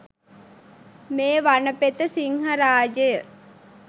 මේ වනපෙත සිංහරාජය